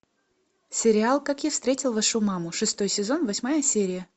сериал как я встретил вашу маму шестой сезон восьмая серия